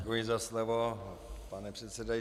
Děkuji za slovo, pane předsedající.